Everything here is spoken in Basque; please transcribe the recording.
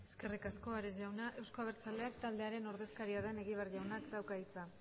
eskerrik asko ares jauna euzko abertzaleak taldearen ordezkaria den egibar jaunak dauka hitza